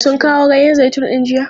Sun kawo ganyen zaitun din jiya?